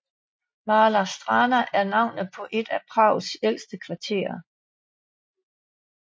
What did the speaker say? Malá Strana er navnet på et af Prags ældste kvarterer